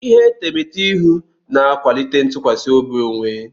Ihe etemeete ihu na-akwalite ntụkwasị obi onwe.